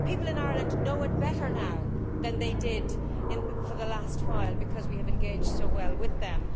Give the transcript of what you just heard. People in Ireland know it better now than they did for the last while because we have engaged so well with them.